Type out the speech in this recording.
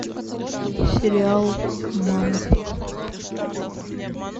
сериал мама